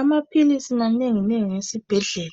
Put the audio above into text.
Amapills manengi nengi esibhedlela